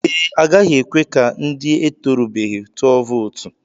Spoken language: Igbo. Ee, agaghị ekwe ka ndị etorubeghi tụọ vootu.